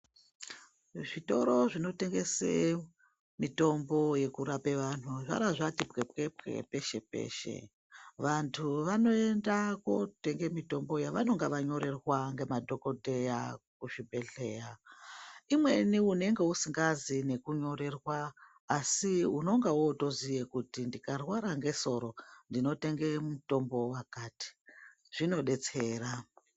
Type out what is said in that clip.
Zvitoro zvinotengese mitombo yekurape vantu zvangazvati pwepwepwe peshe-peshe. Vantu vanoenda kotenga mitombo yavanonga vanyorerwa ngemadhogodheya kuzvibhedhleya. Imweni unenge usingazi nekunyorerwa asi unonga votoziye kuti ndikarwara ngesoro ndinotenge mutombo vakati zvinobetsera.